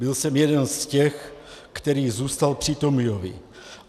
Byl jsem jeden z těch, který zůstal při Tomiovi.